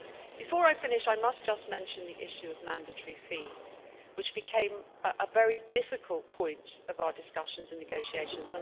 Before I finish, I must just mention the issue of mandatory fees, which became a very difficult point in our discussions and negotiations.